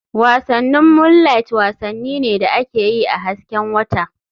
Wasannin Moonliht wasanni ne da ake yi a hasken wata/